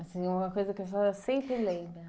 Assim, uma coisa que a senhora sempre lembra.